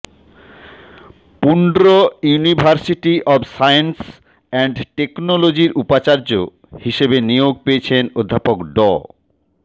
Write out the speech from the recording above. Pundra university of science and টেকনোলজির উপাচার্য হিসেবে নিয়োগ পেয়েছেন অধ্যাপক ড